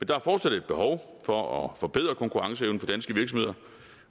der er fortsat et behov for at forbedre konkurrenceevnen for danske virksomheder